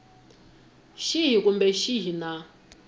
xihi kumbe xihi xa nawu